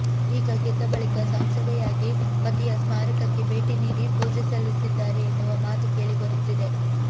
ಈಗ ಗೆದ್ದ ಬಳಿಕ ಸಂಸದೆಯಾಗಿ ಪತಿಯ ಸ್ಮಾರಕಕ್ಕೆ ಭೇಟಿ ನೀಡಿ ಪೂಜೆ ಸಲ್ಲಿದ್ದಾರೆ ಎನ್ನುವ ಮಾತು ಕೇಳಿ ಬರುತ್ತಿದೆ